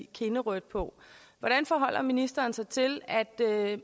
kindrødt på hvordan forholder ministeren sig til at